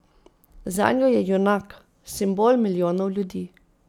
Zanjo je junak, simbol milijonov ljudi.